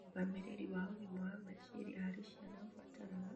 Ũrũgamĩrĩri wa ũgima wa meciria harĩ ciana ũbataraga